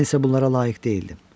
Mən isə bunlara layiq deyildim.